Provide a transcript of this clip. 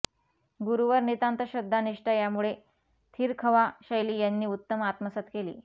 गुरूवर नितांत श्रद्धा निष्ठा यामुळे थिरखवाँ शैली त्यांनी उत्तम आत्मसात केली